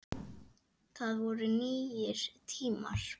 Það voru nýir tímar.